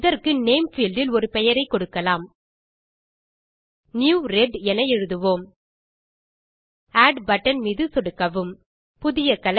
இதற்கு name field இல் ஒரு பெயரை கொடுக்கலாம் நியூ ரெட் என எழுதுவோம் ஆட் பட்டன் மீது சொடுக்கவும் புதிய கலர்